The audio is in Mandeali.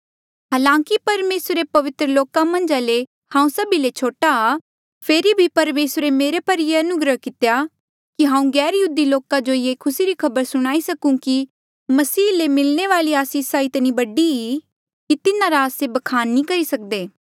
हालांकि परमेसरे रे पवित्र लोका मन्झा ले हांऊँ सभी ले छोटा आ फेरी भी परमेसरे मेरे पर ये अनुग्रह कितेया कि हांऊँ गैरयहूदी लोका जो ये खुसी री खबर सुणाई सकूं कि मसीह ले मिलणे वाली आसीसे इतनी बडी कि तिन्हारा आस्से बखान नी करी सकदे